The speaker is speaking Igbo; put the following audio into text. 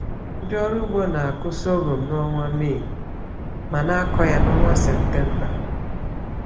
Ndị ọrụ ugbo na-akụ sọgọm n’ọnwa Mee ma na-akọ ya n’ọnwa Septemba.